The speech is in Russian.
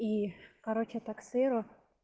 и короче таксео